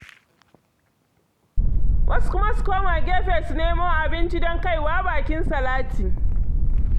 Wasu kuma su koma gefe su nemo abinci don kai wa bakin salati.